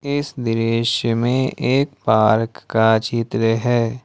इस दृश्य में एक पार्क का चित्र है।